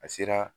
A sera